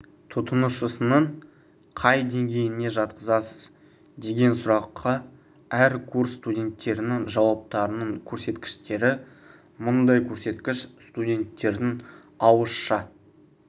тұтынушысының қай деңгейіне жатқызасыз деген сұраққа әр курс студенттерінің жауаптарының көрсеткіштері мұндай көрсеткіш студенттердің ауызша